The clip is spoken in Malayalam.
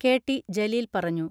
കെ.ടി ജലീൽ പറഞ്ഞു.